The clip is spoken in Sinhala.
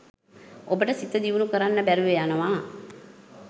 ඔබට සිත දියුණු කරන්න බැරිව යනවා.